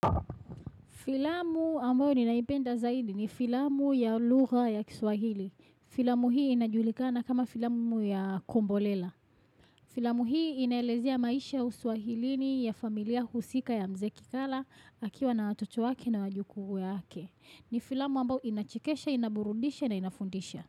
Filamu ambayo ninaipenda zaidi ni filamu ya lugha ya kiswahili. Filamu hii inajulikana kama filamu ya kombolela. Filamu hii inaelezea maisha ya uswahilini ya familia husika ya mzee kikala akiwa na watoto wake na wajukuu wake. Ni filamu ambayo inachekesha, inaburundisha na inafundisha.